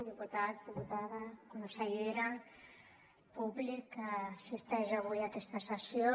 diputats diputada consellera públic que assisteix avui a aquesta sessió